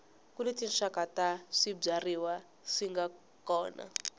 kuni tinxaka ta swibyariwa swinga kona